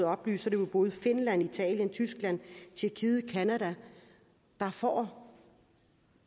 oplyst er det både finland italien tyskland tjekkiet canada der får